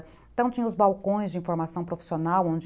Então, tinha os balcões de informação profissional, onde